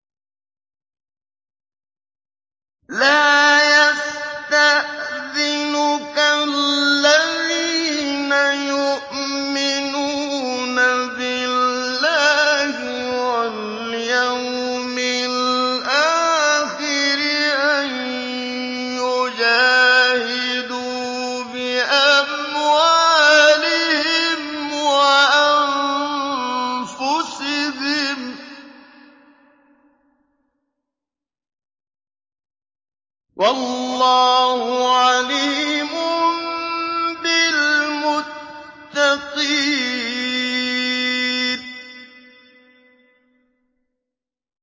لَا يَسْتَأْذِنُكَ الَّذِينَ يُؤْمِنُونَ بِاللَّهِ وَالْيَوْمِ الْآخِرِ أَن يُجَاهِدُوا بِأَمْوَالِهِمْ وَأَنفُسِهِمْ ۗ وَاللَّهُ عَلِيمٌ بِالْمُتَّقِينَ